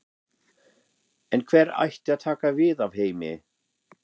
En hver ætti að taka við af Heimi?